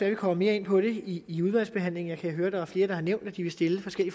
at vi kommer mere ind på det i udvalgsbehandlingen jeg kan høre at der er flere der har nævnt at de vil stille